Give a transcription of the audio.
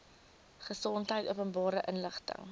gesondheid openbare inligting